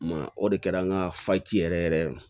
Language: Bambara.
Ma o de kɛra an ka faci yɛrɛ yɛrɛ